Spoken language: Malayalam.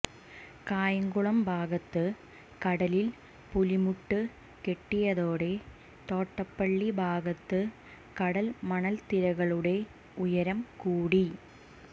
കായംകുളം ഭാഗത്ത് കടലിൽ പുലിമുട്ട് കെട്ടിയതോടെ തോട്ടപ്പള്ളി ഭാഗത്ത് കടൽമണൽത്തിട്ടകളുടെ ഉയരം കൂടി